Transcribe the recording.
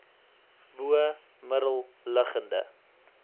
bo middel liggende